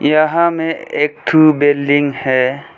यहां में एक ठो बिल्डिंग है।